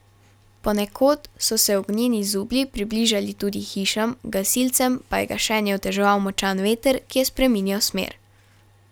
Ponekod so se ognjeni zublji približali tudi hišam, gasilcem pa je gašenje oteževal močan veter, ki je spreminjal smer.